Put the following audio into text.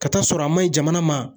Ka taa sɔrɔ a man ɲi jamana ma